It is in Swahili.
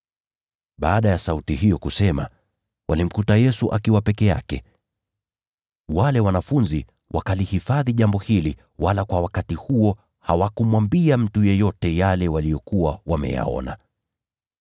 Baada ya sauti hiyo kusema, walimkuta Yesu akiwa peke yake. Wale wanafunzi wakalihifadhi jambo hili, wala kwa wakati huo hawakumwambia mtu yeyote yale waliyokuwa wameyaona.